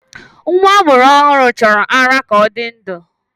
Nwa a mụrụ ọhụrụ chọrọ ara ka ọ dị ndụ